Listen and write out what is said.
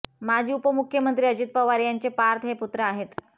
माजी उपमुख्यमंत्री अजित पवार यांचे पार्थ हे पुत्र आहेत